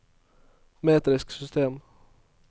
metrisk system